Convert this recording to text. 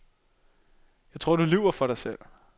Jeg tror, at du lyver for dig selv.